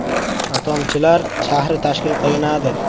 Atomchilar shahri tashkil qilinadi.